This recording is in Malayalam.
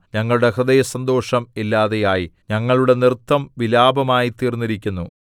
ഞങ്ങളുടെ ഹൃദയസന്തോഷം ഇല്ലാതെയായി ഞങ്ങളുടെ നൃത്തം വിലാപമായ്തീർന്നിരിക്കുന്നു